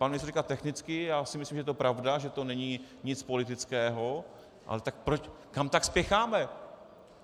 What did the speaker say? Pan ministr říká technicky, já si myslím, že to je pravda, že to není nic politického, ale tak proč, kam tak spěcháme?